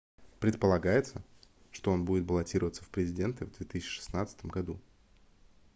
предполагается что он будет баллотироваться в президенты в 2016 году